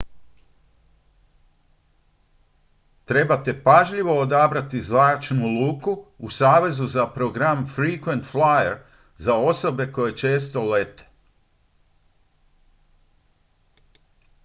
trebate pažljivo odabrati zračnu luku u savezu za program frequent flyer za osobe koje često lete